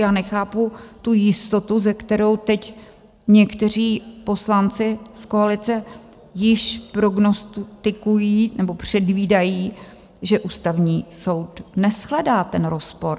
Já nechápu tu jistotu, se kterou teď někteří poslanci z koalice již prognostikují, nebo předvídají, že Ústavní soud neshledá ten rozpor.